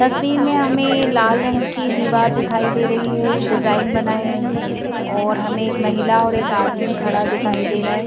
तस्वीर में हमें लाल रंग की दीवार दिखाई दे रही है डिजाइन बना है और हमें एक महिला और एक आदमी खड़ा दिखाई दे रहा है।